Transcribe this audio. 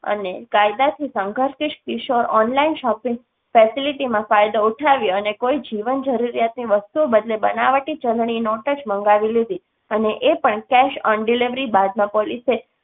અને કાયદા થી સંઘર્ષિત કિશોર online shopping facility માં ફાયદો ઉઠાવે અને કોઈ જીવન જરૂરિયાત ની વસ્તુ બદલેં બનાવટી ચલણી નોટોજ મંગાવી લીધી અને એ પણ cash on delivery બાદમાં પોલીસે